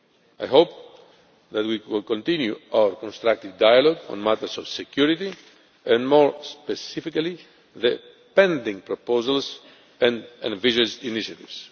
I hope that we will continue our constructive dialogue on matters of security and, more specifically, the pending proposals and envisaged initiatives.